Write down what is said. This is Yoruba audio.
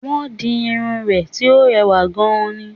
Wọ́n di irun rẹ̀ tí ó rewà gan ni